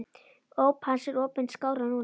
Óp hans er opin skárra nú.